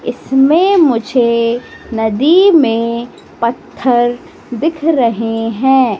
इसमें मुझे नदी में पत्थर दिख रहे हैं।